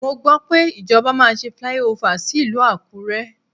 Mo gbọ́ pé ìjọba máa ṣe flyover sí ìlú Àkúré.